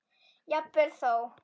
Jafnvel þó